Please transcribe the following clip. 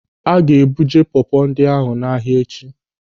A ga-ebuje pọpọ ndị ahụ n'ahia echi.